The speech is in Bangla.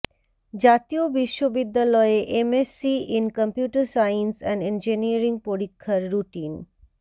জাতীয় বিশ্ববিদ্যালয়ে MSc in computer science and engineering পরীক্ষার রুটিন